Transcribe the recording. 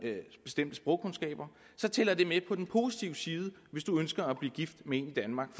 bestemte sprogkundskaber så tæller det med på den positive side hvis du ønsker at blive gift med en i danmark